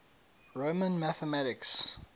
roman mathematics